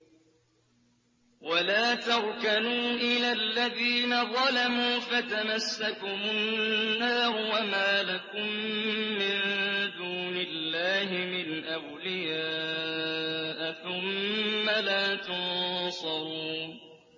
وَلَا تَرْكَنُوا إِلَى الَّذِينَ ظَلَمُوا فَتَمَسَّكُمُ النَّارُ وَمَا لَكُم مِّن دُونِ اللَّهِ مِنْ أَوْلِيَاءَ ثُمَّ لَا تُنصَرُونَ